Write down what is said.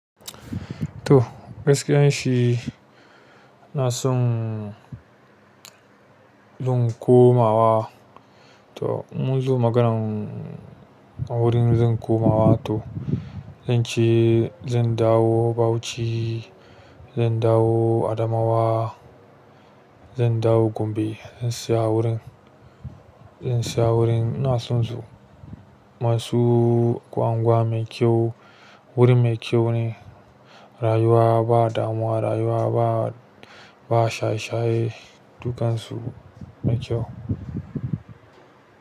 To gaskiya shi na son dun komawa. To in mun zo maganan a wurin zan komawa to zan ci, zan dawo Bauchi, zan dawo Adamawa, zan dawo Gombe, zan saya wurin, zan saya wurin. Na so in zo masu gwangwa mai kyau, wuri mai kyau ne. Rayuwa ba damuwa, rayuwa ba, ba shaye-shaye, dukan su mai kyau.